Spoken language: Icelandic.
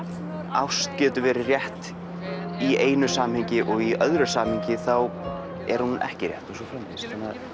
ást getur verið rétt í einu samhengi og í öðru samhengi er hún ekki rétt og svo framvegis